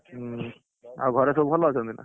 ହୁଁ, ଆଉ ଘରେ ସବୁ ଭଲ ଅଛନ୍ତି ନା।